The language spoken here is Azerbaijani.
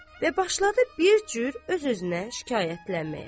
Və başladı bir cür öz-özünə şikayətlənməyə.